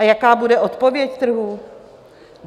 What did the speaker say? A jaká bude odpověď trhů?